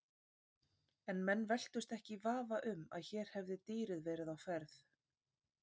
En menn velktust ekki í vafa um að hér hefði dýrið verið á ferð.